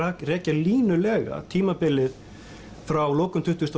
rekja línulega tímabilið frá lokum tuttugustu